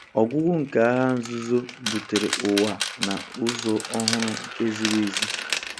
Ọgwụgwụ nke Agha Nzuzo butere ụwa na- ụzọ ọhụrụ, nke ziri ezi.